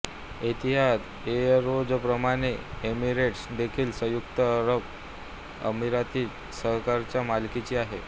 एतिहाद एअरवेजप्रमाणे एमिरेट्स देखील संयुक्त अरब अमिराती सरकारच्या मालकीची आहे